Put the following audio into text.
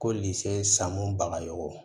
Ko sanmu baga yogo